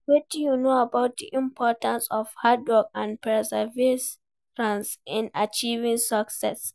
wetin you know about di importance of hard work and perseverance in achieving success?